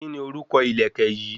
Kíni orúkọ ìlẹ̀kẹ̀ yìí?